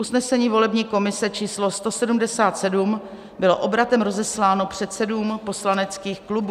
Usnesení volební komise číslo 177 bylo obratem rozesláno předsedům poslaneckých klubů.